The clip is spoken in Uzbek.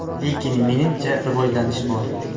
Lekin menimcha, rivojlanish bor.